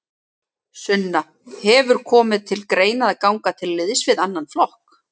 Sunna: Hefur komið til greina að ganga til liðs við annan flokk?